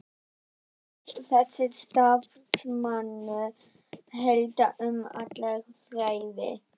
Hvað ef þessi starfsmaður hélt um alla þræði?